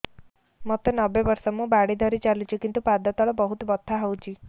ମୋତେ ନବେ ବର୍ଷ ମୁ ବାଡ଼ି ଧରି ଚାଲୁଚି କିନ୍ତୁ ପାଦ ତଳ ବହୁତ ବଥା ହଉଛି